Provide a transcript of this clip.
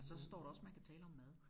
Så står der også man kan tale om mad